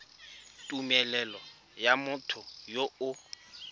tumelelo ya motho yo o